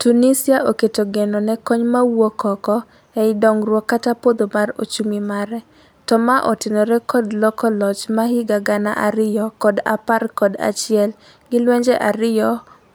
Tunisia oketo geno ne kony mawuok oko e I dongruok kata podho mar ochumi mare. To ma otenore kod loko loch ma higa gana ariyo kod apar kod achiel gi lwenje ariyo